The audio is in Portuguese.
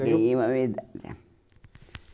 Ganhei uma medalha.